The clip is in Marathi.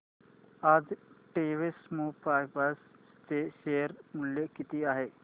आज टेक्स्मोपाइप्स चे शेअर मूल्य किती आहे